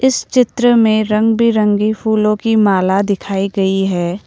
इस चित्र में रंग बिरंगी फूलों की माला दिखाई गई है।